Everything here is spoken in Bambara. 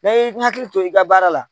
Ne y'i hakili to i ka baara la